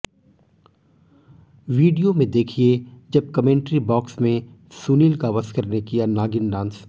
video में देखिए जब कमेंट्री बॉक्स में सुनील गावस्कर ने किया नागिन डांस